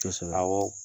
Kosɛbɛ awɔ